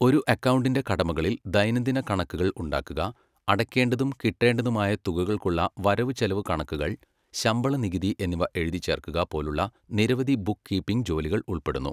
ഒരു അക്കൗണ്ടിന്റെ കടമകളിൽ ദൈനംദിന കണക്കുകൾ ഉണ്ടാക്കുക, അടയ്ക്കേണ്ടതും കിട്ടേണ്ടതുമായ തുകകൾക്കുള്ള വരവുചെലവുകണക്കുകൾ , ശമ്പള നികുതി എന്നിവ എഴുതിച്ചേർക്കുക പോലുള്ള നിരവധി ബുക്ക് കീപ്പിംഗ് ജോലികൾ ഉൾപ്പെടുന്നു.